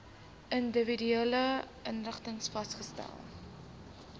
individuele inrigtings vasgestel